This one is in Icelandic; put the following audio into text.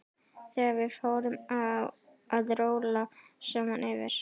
Þegar við fórum að róla saman yfir